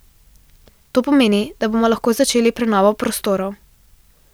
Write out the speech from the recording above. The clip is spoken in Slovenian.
To pomeni, da bomo lahko začeli prenovo prostorov.